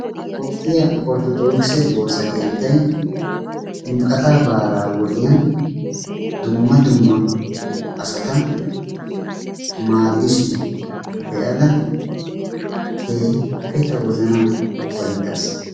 Toophphiya orttodookise woosa keettay ximqqatiya baalaa wodiyan dumma dumma asata maaddishin be'ada keehippe ta wozanan ufayttaas.